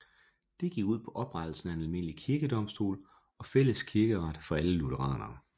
Det gik ud på oprettelsen af en almindelig kirkedomstol og fælles kirkeret for alle lutheranere